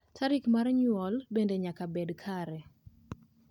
tarik mar nyuol bende nyaka bed kare